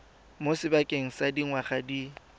mo sebakeng sa dingwaga di